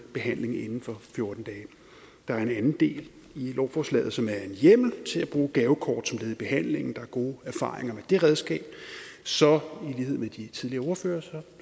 behandling inden for fjorten dage der er en anden del af lovforslaget som er en hjemmel til at bruge gavekort som led i behandlingen der er gode erfaringer med det redskab så i lighed med de tidligere ordførere